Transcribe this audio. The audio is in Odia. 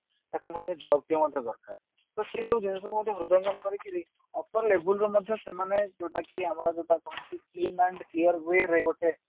ତାକୁ ମଧ୍ୟ job ଟିଏ ମଧ୍ୟ ଦରକାର ତ ସେଇ ସବୁ ଜିନିଷକୁ ହୃଦୟଙ୍ଗମ କରିକିରି upper label ରୁ ମଧ୍ୟ ସେମାନେ ଯୋଉଟା କି ଆମର ଯୋଉଟା କହନ୍ତି earn clear way ରେ ଗୋଟେ